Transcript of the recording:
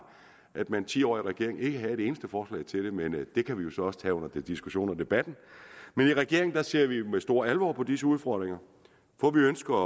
at man i ti år regering ikke havde et eneste forslag til det men det kan vi jo så også tage under diskussionen og debatten i regeringen ser vi med stor alvor på disse udfordringer for vi ønsker at